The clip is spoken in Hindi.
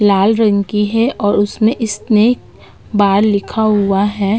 लाल रंग की है और उसमें स्नैक बार लिखा हुआ है।